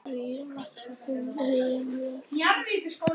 Tveir lögreglubílar tóku þátt í eftirförinni